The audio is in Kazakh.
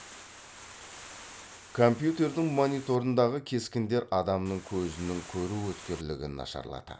компьютердің мониторындағы кескіндер адамның көзінің көру өткірлігін нашарлатады